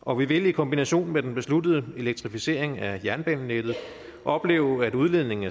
og vi vil i kombination med den besluttede elektrificering af jernbanenettet opleve at udledningen